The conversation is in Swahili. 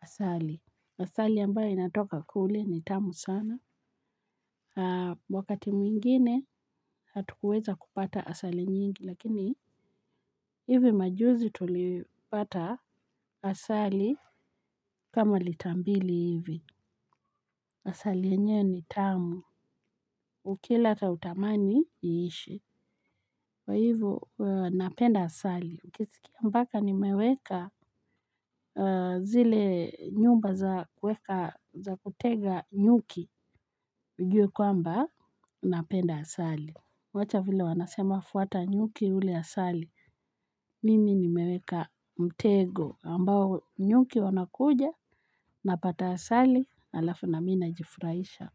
asali. Asali ambayo inatoka kule ni tamu sana. Wakati mwingine hatukuweza kupata asali nyingi lakini hivi majuzi tulipata asali kama lita mbili hivi. Asali yenyewe ni tamu. Ukila hata hutamani iishe. Kwa hivyo napenda asali ukisikia mpaka nimeweka zile nyumba za kutega nyuki ujue kwamba napenda asali. Wacha vile wanasema fuata nyuki ule asali. Mimi nimeweka mtego ambao nyuki wanakuja. Napata asali halafu na mi najifurahisha.